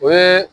O ye